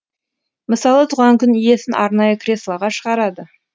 мысалы туған күн иесін арнайы креслоға шығарады